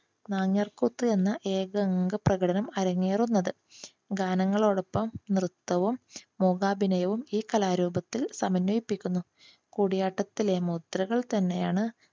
നങ്യാർ കൂത്ത് എന്ന ഏകഅങ്ക പ്രകടനം അരങ്ങേറുന്നത്. ഗാനങ്ങളോടൊപ്പം നൃത്തവും മൂകാഭിനയവും ഈ കലാരൂപത്തിൽ സമന്വയിപ്പിക്കുന്നു. കൂടിയാട്ടത്തിലെ മുദ്രകൾ തന്നെയാണ്